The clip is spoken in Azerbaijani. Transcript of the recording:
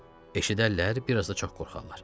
Eşidərlər, bir az da çox qorxarlar.